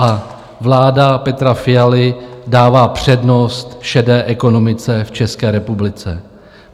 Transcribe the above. A vláda Petra Fialy dává přednost šedé ekonomice v České republice.